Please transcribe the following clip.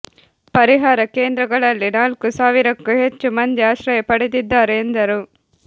ಪರಿಹಾರ ಕೇಂದ್ರಗಳಲ್ಲಿ ನಾಲ್ಕು ಸಾವಿರಕ್ಕೂ ಹೆಚ್ಚು ಮಂದಿ ಆಶ್ರಯ ಪಡೆದಿದ್ದಾರೆ ಎಂದರು